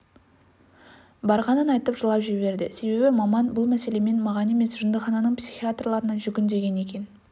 барғанын айтып жылап жіберді себебі маман бұл мәселемен маған емес жындыхананың психиатрларына жүгін деген екен